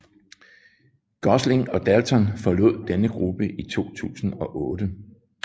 Gosling og Dalton forlod denne gruppe i 2008